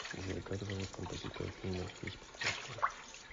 джой как зовут композитора фильма жизнь прекрасна